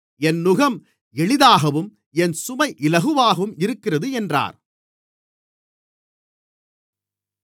என் நுகம் எளிதாகவும் என் சுமை இலகுவாகவும் இருக்கிறது என்றார்